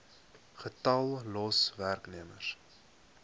getal los werknemers